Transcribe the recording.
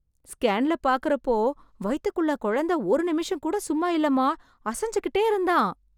ஸ்கேன்ல பாக்கறப்போ, வயித்துக்குள்ள கொழந்த ஒரு நிமிஷம்கூட சும்மா இல்லமா... அசஞ்சி கிட்டே இருந்தான்...